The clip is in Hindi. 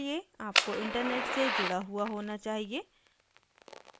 आपको इंटरनेट से जुड़ा हुआ होना चाहिए